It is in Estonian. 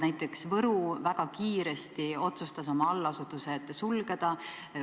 Näiteks otsustas Võru väga kiiresti oma allasutused sulgeda.